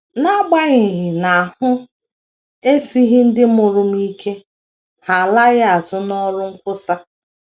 N’agbanyeghị na ahụ esighị ndị mụrụ m ike, ha alaghị azụ n’ọrụ nkwusa.